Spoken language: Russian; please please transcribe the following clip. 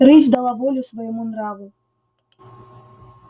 рысь дала волю своему нраву